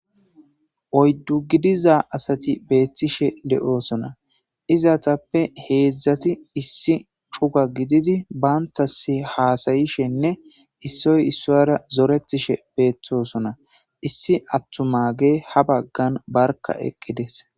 Oyddu gidiza asat betishe de'osona, izetappe hezdat issi cugan gidid bantas hasa'ashe issoy isara zoretishe dosona , issi atumagey ha bagan barka eqides.